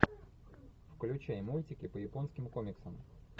включай мультики по японским комиксам